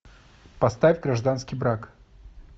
поставь гражданский брак